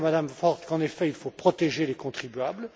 Je dis à Mme Ford qu'en effet, il faut protéger les contribuables.